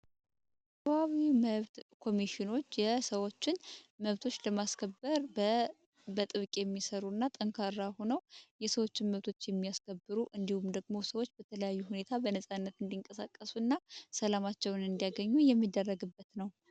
የአቪሽን መብት ኮሚሽኖች በጥብቅ የሚሰሩና ጠንካራ ሆኖ የሰዎችን መብት የሚያስከብሩ እንዲሁም ደግሞ ሰዎች በነጻነት እንዲንቀሳቀሱ ሰላማችን እንዲያገኙ የሚደረግ ግኝት ነው።